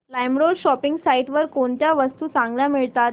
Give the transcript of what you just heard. LimeRoad shopping site वर कोणत्या वस्तू चांगल्या मिळतात